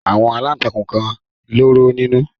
Àwọn aláǹtakùn kan lóró nínú.